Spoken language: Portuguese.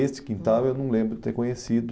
Esse quintal eu não lembro ter conhecido.